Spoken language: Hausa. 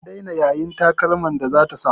An daina yayin takalman da zata sa.